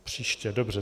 Příště, dobře.